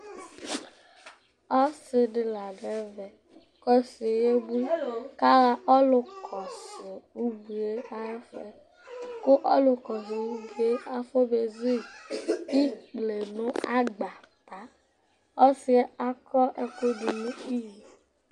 Ɔsɩ dɩ la dʋ ɛvɛ kʋ ɔsɩ yɛ yebui kʋ aɣa ɔlʋkɔsʋ ubui yɛ ayʋ ɛfʋ yɛ kʋ ɔlʋkɔsʋ ubui yɛ afɔbezu yɩ ikple nʋ agbata Ɔsɩ yɛ akɔ ɛkʋ dʋ nʋ iyo